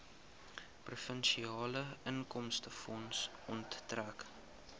provinsiale inkomstefonds onttrek